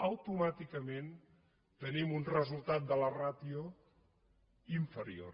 automàticament tenim un resultat de la ràtio inferior